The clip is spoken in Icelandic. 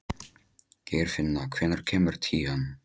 Geirfinna, hvenær kemur tían?